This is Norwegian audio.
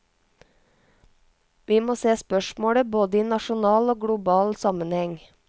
Vi må se spørsmålet både i nasjonal og global sammenheng.